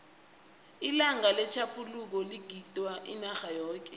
ilanga letjhaphuluko ligidingwa inarha yoke